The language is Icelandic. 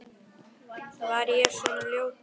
Var ég svona ljótur?